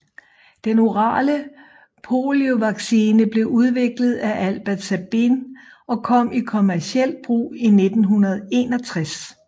Den orale poliovaccine blev udviklet af Albert Sabin og kom i kommercielt brug i 1961